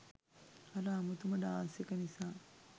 අර අමුතුම ඩාන්ස් එක නිසා.